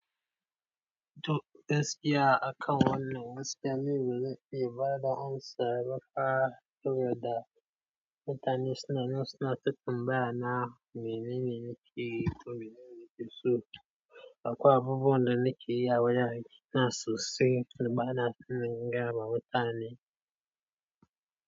To, gaskiya akan wannan waskiya, ni baze iya ba da amsa ba fah saboda mutane sunan suna ta tambaya na me nen nikeyi, ko menene nike so, akwai abubuwan da nike yi a wajen aikina sosai dabanaso in gaya ma mutane?